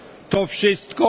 To wszystko.